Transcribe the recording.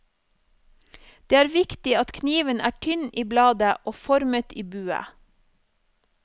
Det er viktig at kniven er tynn i bladet og formet i bue.